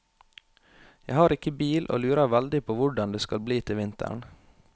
Jeg har ikke bil og lurer veldig på hvordan det skal bli til vinteren.